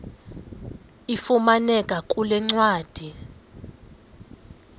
ifumaneka kule ncwadi